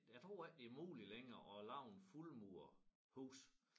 Jeg tror ikke det muligt længere at lave en fuldmuret hus